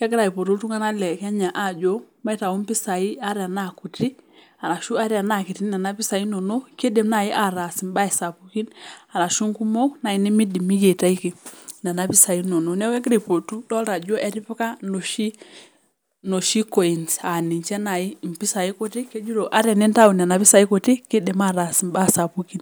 iltunganak lekenya amuu kejo maitayu impisai ata tenaa kutik amuu keidim ataas embae. Keipotito niche iltunganak ajoki ata iropiyiani kutik keidim ataas imbaa sapuki